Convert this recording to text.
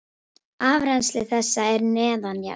Afrennsli þess er neðanjarðar.